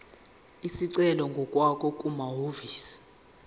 isicelo ngokwakho kumahhovisi